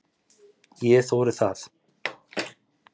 Ég þori það.